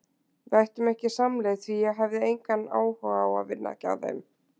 Við ættum ekki samleið því ég hefði engan áhuga á að vinna hjá þeim.